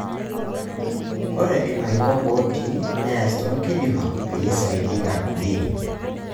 Ore ilarikok ooti nees toonkidimat peyie isaidia kulie